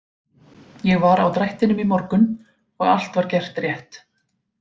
Ég var á drættinum í morgun og allt var gert rétt.